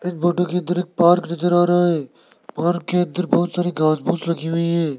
इस फोटो के अंदर एक पार्क नजर आ रहा है पार्क के अंदर बहुत सारी खास पूस लगी हुई है।